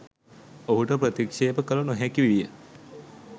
ඔහුට ප්‍රතික්ශේප කල නොහැකි විය.